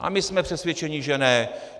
A my jsme přesvědčeni, že ne.